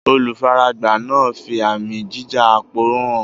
Olùfaragbá náà ń fi àmì jíja-aporó hàn